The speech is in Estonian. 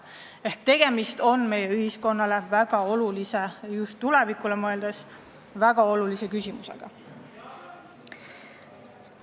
Seega tegemist on meie ühiskonnas väga olulise küsimusega, seda just tuleviku seisukohast.